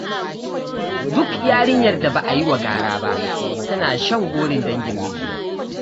Duk yarinyar da ba a yi wa gara ba, tana shan gorin dangin miji